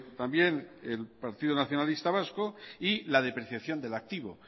también el partido nacionalista vasco y la depreciación del activo